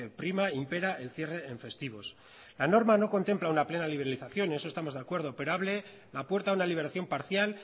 prima impera el cierre en festivos la norma no contempla una plena liberalización en eso estamos de acuerdo pero abre la puerta a una liberación parcial